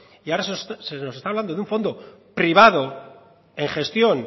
y ahora se nos está hablando de un fondo privado en gestión